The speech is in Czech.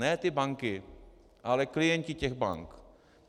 Ne ty banky, ale klienti těch bank.